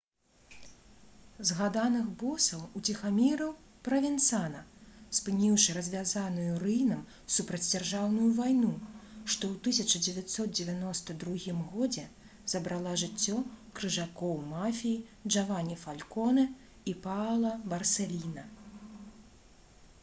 «згаданых босаў уціхамірыў правенцана спыніўшы развязаную рыйнам супрацьдзяржаўную вайну што ў 1992 годзе забрала жыццё крыжакоў мафіі джавані фалконе і паала барсэліна»